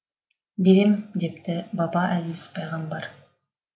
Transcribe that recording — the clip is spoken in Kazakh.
берем депті баба әзиз пайғамбар